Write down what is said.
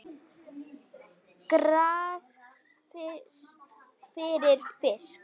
Graf fyrir fisk.